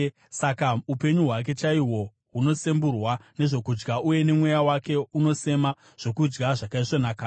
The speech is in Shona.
saka upenyu hwake chaihwo hunosemburwa nezvokudya, uye mweya wake unosema zvokudya zvakaisvonaka.